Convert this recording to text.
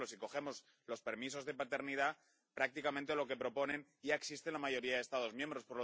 Por ejemplo, si cogemos los permisos de paternidad, prácticamente lo que proponen ya existe en la mayoría de Estados miembros.